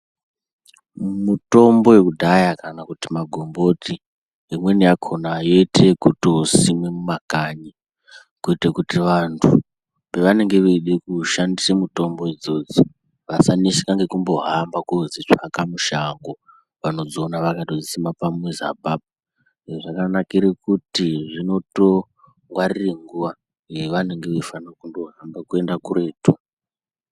Mitombo yekudhaya kana kuti magomboti imweni yakona yeite yekutosimwa nemumakanyi kuito kuti vantu pavanenge veide kushandise mitombo idzodzo vasaneseka nekumbohamba kodzitsvaka mushango. Vanodziona vakatodzisima pamuzi apapo, izvi zvakanakire kuti zvinotongwarire nguwa yavanenge vaifanire kundohamba kuende kuretu.